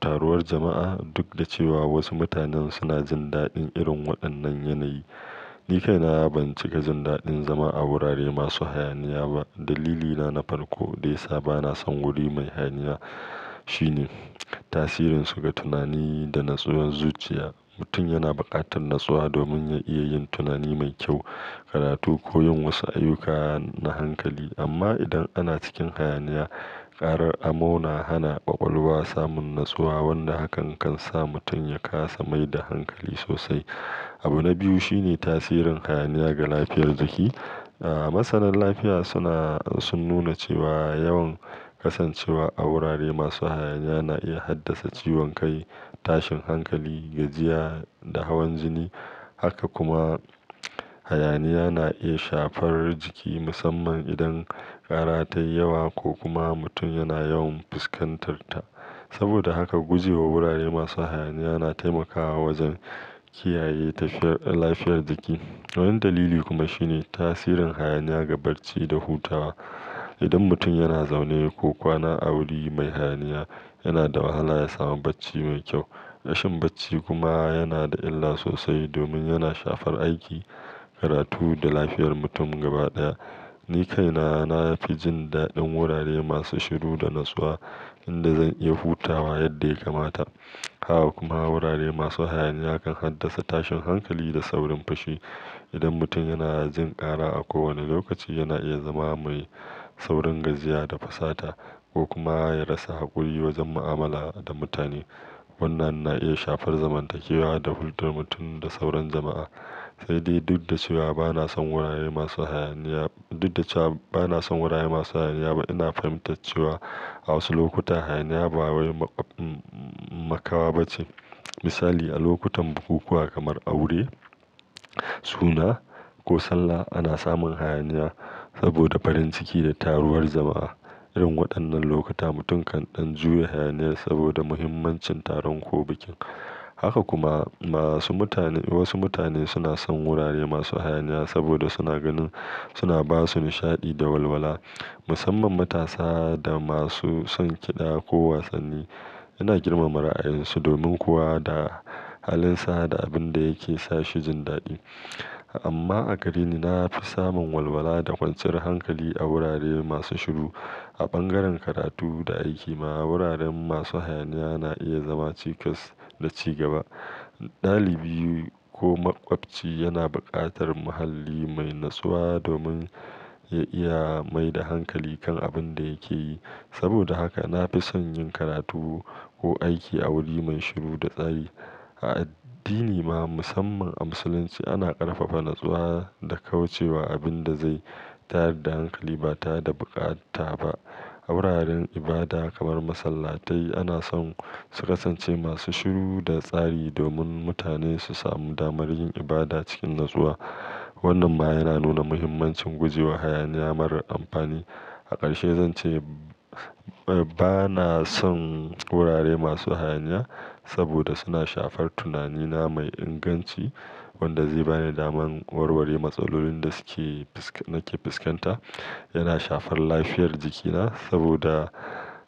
taruwar jama'a duk da cewa wasu mutanen suna jin daɗin irin waɗannan yanayi. Ni kaina ban cika jin daɗin zama a wurare masu hayaniya ba. Dalilina na farko dai sa ba na son wuri mai hayaniya shine tasirin su ga tunani da natsuwan zuciya. Mutum yana buƙatar natsuwa domin ya iya yin tunani mai kyau, karatu ko yin wasu ayyuka na hankali. Amma idan ana cikin hayaniya, ƙarar amo na hana ƙwaƙwalwa samun natsuwa wanda hakan kan sa mutum ya kasa mai da hankali sosai. Abu na biyu shine tasirin hayaniya ga lafiyar jiki. Masanan lafiya suna, sun nuna cewa yawan kasancewa a wurare masu hayaniya na iya haddasa ciwon kai, tashin hankali, gajiya da hawan jini. Haka kuma hayaniya na iya shafar jiki musamman idan ƙara tayi yawa ko kuma mutum yana yawan fuskantarta. Saboda haka gujewa wurare masu hayaniya na taimakawa wajen kiyaye lafiyar jiki. Wani dalili kuma shine tasirin hayaniya ga bacci da hutawa. Idan mutum yana zaune ko kwana a wuri mai hayaniya, yana da wahala ya samu bacci mai kyau. Rashin bacci kuma yana da illa sosai domin yana shafar aiki, karatu da lafiyar mutum gaba ɗaya. Ni kaina na fi jin daɗin wurare masu shiru da natsuwa inda zan iya hutawa yadda ya kamata. Haka kuma wurare masu hayaniya kan haddasa tashin hankali da saurin fushi. Idan mutum yana jin ƙara a kowane lokaci, yana iya zama mai saurin gajiya da fasata ko kuma ya rasa haƙuri wajen mu'amala da mutane. Wannan na iya shafar zamantakewa da hulɗar mutum da sauran jama'a. Sai dai duk da cewa ba na son wurare masu hayaniya, duk da cewa ba na son wurare masu hayaniya ba, ina fahimtar cewa a wasu lokuta hayaniya ba wani maƙaɓa ba ce. Misali, a lokutan bukukuwa kamar aure, suna ko Sallah ana samun hayaniya saboda farin ciki da taruwar jama'a. Irin waɗannan lokuta mutum kan ɗan juya hayaniya saboda muhimmancin taron ko bikin. Haka kuma masu mutane, wasu mutane suna son wurare masu hayaniya saboda suna ganin suna ba su nishaɗi da walwala musamman matasa da masu son kiɗa ko wasanni. Ina girmama ra'ayinsu domin kuwa da halinsa da abin da yake sa shi jin daɗi. Amma a gare ni na fi samun walwala da kwanciyar hankali a wurare masu shiru. A bangaren karatu da aiki ma wuraren masu hayaniya na iya zama cikas da cigaba. Ɗalibi ko maƙwabci yana buƙatar muhalli mai natsuwa domin ya iya mai da hankali kan abin da yake yi. Saboda haka na fi son yin karatu ko aiki a wuri mai shiru da tsari. A addini ma musamman a Musulunci ana ƙarfafa natsuwa da kaucewa abin da zai tayar da hankali ba ta da bukata ba. A wuraren ibada kamar masallatai ana son su kasance masu shiru da tsari domin mutane su samu damar yin ibada cikin natsuwa. Wannan ma yana nuna muhimmancin gujewa hayaniya marar amfani. A ƙarshe zan ce ba na son wurare masu hayaniya saboda suna shafar tunanina mai inganci wanda zai ba ni daman warware matsalolin da suke, nake fuskanta. Yana shafar lafiyar jikina saboda